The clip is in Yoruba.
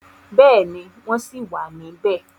Bẹ́ẹ̀ni, wọ́n ṣì wà níbẹ̀.